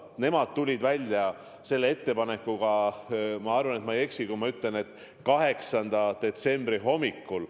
Nemad tulid välja selle ettepanekuga, ma arvan, et ma ei eksi, 8. detsembri hommikul.